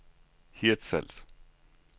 Hirtshals